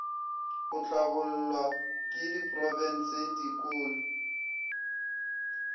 go hlabollwa ke diprofense dikolo